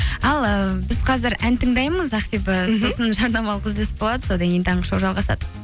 ал ы біз қазір ән тыңдаймыз ақбибі жарнамалық үзіліс болады содан кейін таңғы шоу жалғасады